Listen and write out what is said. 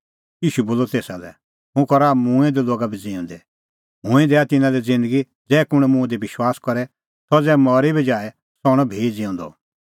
ईशू बोलअ तेसा लै हुंह करा मूंऐं दै लोगा बी ज़िऊंदै हुंह ई दैआ तिन्नां लै ज़िन्दगी ज़ै कुंण मुंह दी विश्वास करे सह ज़ै मरी बी जाए सह हणअ भी ज़िऊंदअ